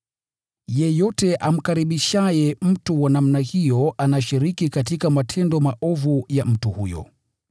Yeyote amkaribishaye mtu wa namna hiyo anashiriki katika matendo maovu ya mtu huyo.